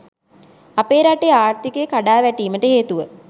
අපේ රටේ ආර්ථිකය කඩා වැටීමට හේතුව